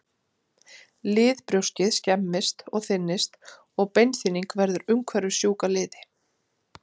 Liðbrjóskið skemmist og þynnist og beinþynning verður umhverfis sjúka liði.